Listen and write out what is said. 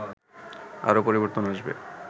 আরও পরিবর্তন আসবে